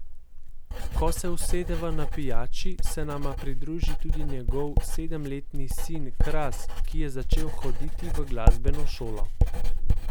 Ko se usedeva na pijači, se nama pridruži tudi njegov sedemletni sin Kras, ki je začel hoditi v glasbeno šolo.